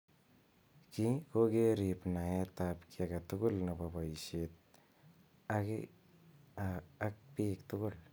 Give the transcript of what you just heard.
Kii kokerib naet ab ki age tugul nebo boishet ak bik tugul.